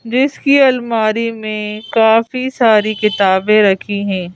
जिसकी अलमारी में काफी सारी किताबें रखी हैं।